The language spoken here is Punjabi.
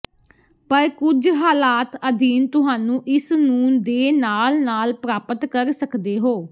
ਪਰ ਕੁਝ ਹਾਲਾਤ ਅਧੀਨ ਤੁਹਾਨੂੰ ਇਸ ਨੂੰ ਦੇ ਨਾਲ ਨਾਲ ਪ੍ਰਾਪਤ ਕਰ ਸਕਦੇ ਹੋ